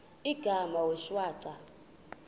igama wee shwaca